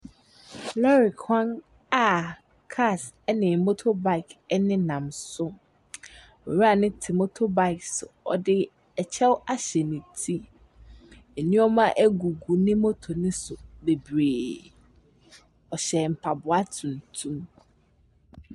Lɔɔre kwan aa kaas ɛne motobaik ɛnenam so. Owura ne ti motobaik so ɔde ɛkyɛw ahyɛ ne ti. Nnoɔma agugu ne moto ne so bebree. Ɔhyɛ mpaboa tuntum.